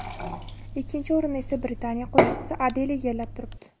Ikkinchi o‘rinni esa Britaniya qo‘shiqchisi Adel egallab turibdi.